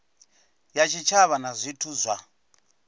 ya tshitshavha na zwithu zwa